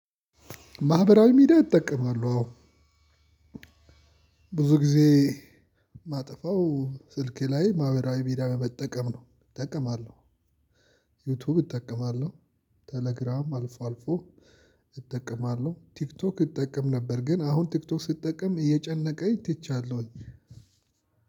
ማህበራዊ ሚዲያ እጠቀማለው አዎ ብዙ ጊዜ ማጠፋው ስልኬ ላይ ማህበራዊ ሚዲያ መጠቀም ነው እጠቀማለሁ። ዩቲዩብ እጠቀማለሁ ቴሌግራም አልፎ አልፎ እጠቀማለሁ። ቲክቶክ እጠቀም ነበር ግን አሁን ቲክቶክ ስጠቀም እየጨነቀኝ ትቻለሁኝ።